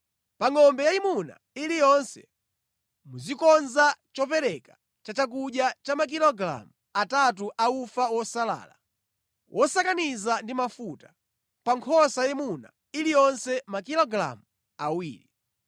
Pa ngʼombe yayimuna iliyonse, muzikonza chopereka cha chakudya cha makilogalamu atatu a ufa wosalala wosakaniza ndi mafuta; pa nkhosa yayimuna iliyonse makilogalamu awiri;